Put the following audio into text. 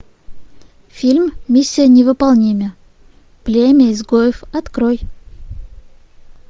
фильм миссия невыполнима племя изгоев открой